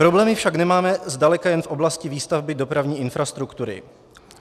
Problémy však nemáme zdaleka jen v oblasti výstavby dopravní infrastruktury.